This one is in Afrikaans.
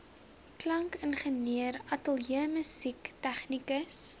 klankingenieur ateljeemusikant tegnikus